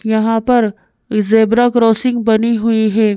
यहाँ पर zebra crossing बनी हुई है।